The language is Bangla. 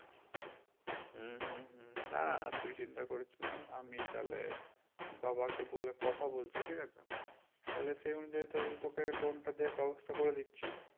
হুম হুম হুম না না তুই চিন্তা করিস না আমি তাহলে বাবা কে বলে কথা বলছি ঠিক আছে তাহলে সেই অনু যায়ে তাহলে তোকে loan টাতে ব্যবস্থা করে দিচ্ছি